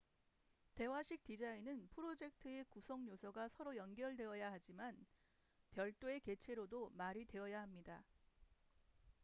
대화식 디자인은 프로젝트의 구성 요소가 서로 연결되어야 하지만 별도의 개체로도 말이 되어야 합니다